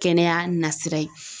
Kɛnɛya nasira ye.